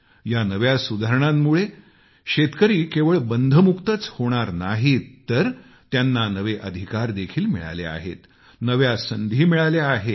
या नव्या सुधारणांमुळे शेतकऱ्यावर असलेली बंधने केवळ रद्दच होणार नाहीत तर त्यांना नवे अधिकार देखील मिळाले आहेत नव्या संधी मिळाल्या आहेत